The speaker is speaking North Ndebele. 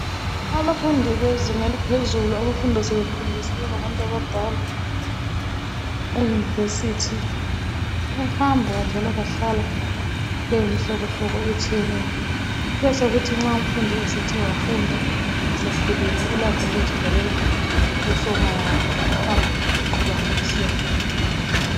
Abafundi bezinga eliphezulu abafunda sebekhulile sebengabantu abadala eyunivesithi bahamba njalo bahlala beyimhlobohlobo etshiyeneyo kubesekuthi nxa umfundi esethe wafunda esekhulile ulakho ukuzitholela usomoya wakhe bahambe nje beqhubana besiyafunda